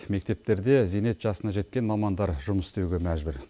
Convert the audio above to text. мектептерде зейнет жасына жеткен мамандар жұмыс істеуге мәжбүр